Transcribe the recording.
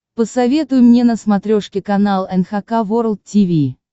посоветуй мне на смотрешке канал эн эйч кей волд ти ви